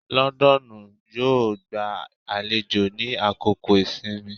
London yo gba àlejò ni àkókò ìsinmi